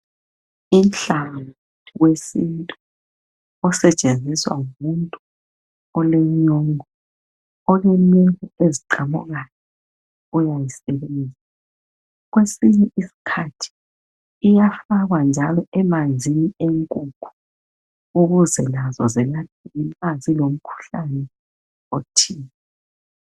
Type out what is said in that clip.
Inhlangu ngumuthi wesintu osetshenziswa ngumuntu olenyongo. Olenwele eziqamuksyo, uyayisebenzisa. Kwesinye isikhathi iyafakwa njalo emanzini enkukhu, nxa zilomkhuhlane othile.